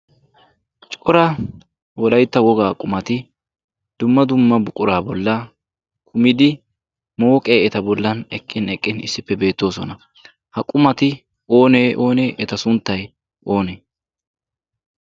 Cora wolaytta wogaa qummati dumma dumma buquraa bolla kumidi mooqqe eta bollan eqqin eqqin issippe beettoosona. Ha qummati oonee oonee eta sunttay oonee?